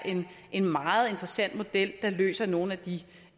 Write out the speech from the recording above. en meget interessant model der løser nogle af de